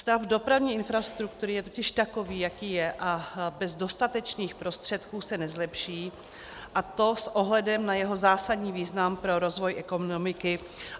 Stav dopravní infrastruktury je totiž takový, jaký je, a bez dostatečných prostředků se nezlepší, a to s ohledem na jeho zásadní význam pro rozvoj ekonomiky.